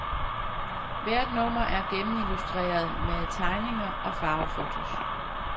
Hvert nummer er gennemillustret med tegninger og farvefotos.